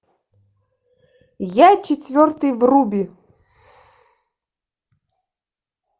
я четвертый вруби